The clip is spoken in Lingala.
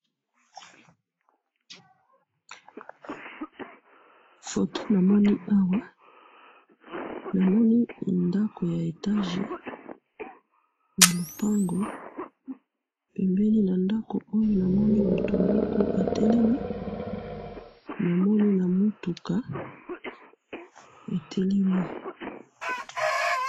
photo na moni awa na moni ndaku ya etage na lupango pembeni na na ndaku oyo na moni mutu moko atelemi na moni na mutuka etelemi